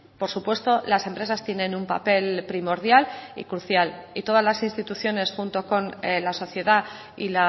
por supuesto las empresas tienen un papel primordial y crucial y todas las instituciones junto con la sociedad y